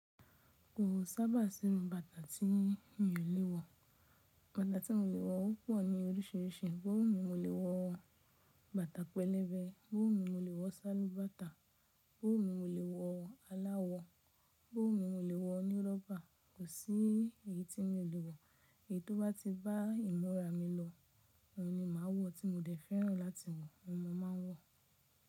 Kò sábà sí irú bàtà tí èmí ò lè wọ̀. Bàtà tí mò lè wọ̀ ó pọ̀ ní oríṣìíríṣìí, bó wu mi mò lè wọ̀ bàtà pẹlẹbẹ, bó wu mi mò lè wọ̀ sálúbàtà, bó wu mi mò lè wọ̀ aláwọ̀, bó wu mi mò lè wọ̀ onírọ́bà, kò sí èyí tí n ò lè wọ̀. Èyí tó bá ti bá ìmúra mi lọ, òhun ni màá wọ̀ tí mo dẹ̀ fẹ́ràn láti wọ̀, ohun mò máa ń wọ̀.